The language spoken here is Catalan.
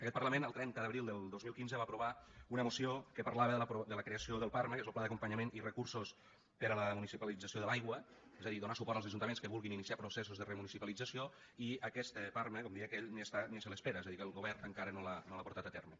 aquest parlament el trenta d’abril del dos mil quinze va aprovar una moció que parlava de la creació del parma que és el pla d’acompanyament i recursos per a la municipalització de l’aigua és a dir donar suport als ajuntaments que vulguin iniciar processos de remunicipalització i aquest parma com deia aquell ni està ni se l’espera és a dir que el govern encara no l’ha portat a terme